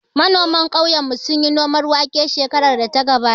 Manoman ƙauyen mu sunyi noman wake shekarar da ta gabata